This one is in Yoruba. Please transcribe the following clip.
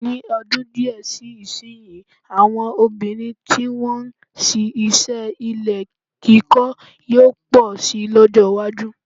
Ní ọdún díè sí ìsìnyí, àwọn obìnrin tí wọ́n ń se iṣẹ́ ilé-kíkọ́ yóò pọ̀ si lọ́jọ́-iwájú.